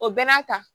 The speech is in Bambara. O bɛɛ n'a ta